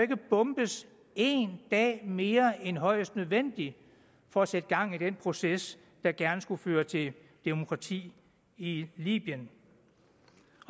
bombes en dag mere end højst nødvendigt for at sætte gang i den proces der gerne skulle føre til demokrati i libyen